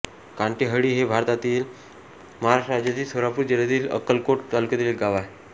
कांठेहळ्ळी हे भारतातील महाराष्ट्र राज्यातील सोलापूर जिल्ह्यातील अक्कलकोट तालुक्यातील एक गाव आहे